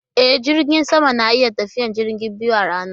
E, jiragen sama na iya tafiyar jirage biyu a rana.